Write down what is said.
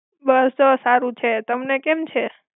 બસ જો સારું છે. તમને કેમ છે?